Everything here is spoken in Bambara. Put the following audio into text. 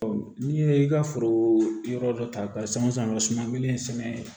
n'i ye i ka foro yɔrɔ dɔ ta ka san o san sumalen sɛnɛ